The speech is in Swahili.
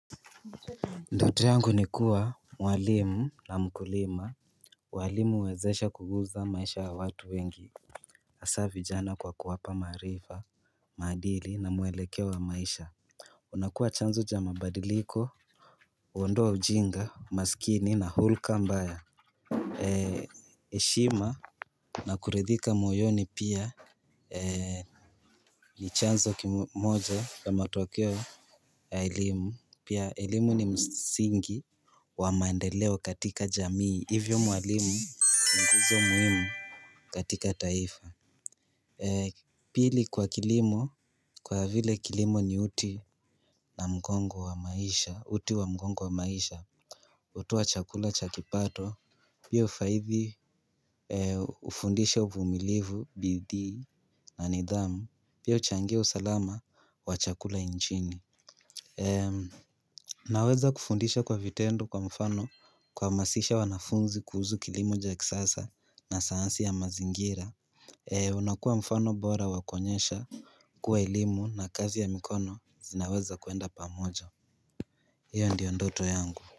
Ndoto yangu ni kuwa mwalimu na mkulima walimu uwezesha kuguza maisha ya watu wengi hasa vijana kwa kuwapa maarifa maadili na mwelekeo wa maisha unakuwa chanzo cha mabadiliko huondoa ujinga umasikini na hulka mbaya eshima na kuridhika moyoni pia ni chanzo kimoja ya matokeo ya elimu pia elimu ni msingi wa maendeleo katika jamii Hivyo mwalimu ni nguzo muhimu katika taifa Pili kwa kilimo Kwa vile kilimo ni uti na mgongo wa maisha uti wa mgongo wa maisha hutoa chakula cha kipato pia hufaidhi ufundisha uvumilivu, bidii na nidhamu pia huchangia usalama wa chakula nchini Naweza kufundisha kwa vitendo Kwa mfano kuhamasisha wanafunzi kuhusu kilimo cha kisasa na sayansi ya mazingira unakua mfano bora wa kuonyesha kuwa elimu na kazi ya mikono zinaweza kuenda pamojo hiyo ndiyo ndoto yangu.